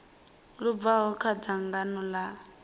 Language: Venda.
lu bvaho kha dzangano ḽa